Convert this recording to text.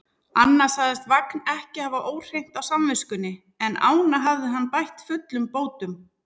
Annað sagðist Vagn ekki hafa óhreint á samviskunni, en ána hafði hann bætt fullum bótum.